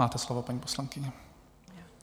Máte slovo, paní poslankyně.